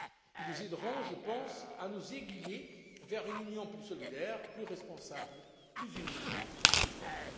Ils nous aideront, je pense, à nous aiguiller vers une Union plus solidaire, plus responsable, plus unie, plus forte.